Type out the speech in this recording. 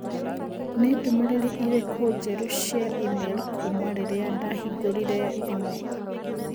Nĩ ndũmĩrĩri irĩkũ njerũ cia i-mīrū kuuma rĩrĩa ndahingũrĩire thimũ?